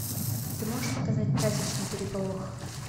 ты можешь показать праздничный переполох